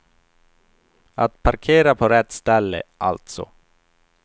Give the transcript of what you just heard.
Att parkera på rätt ställe, alltså.